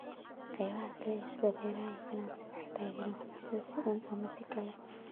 Qaybaha kale sida beeraha iyo ganacsiga waxay taageeraan waxbarashada si uun ama si kale.